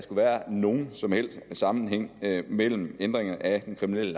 skulle være nogen som helst sammenhæng mellem ændringen af den kriminelle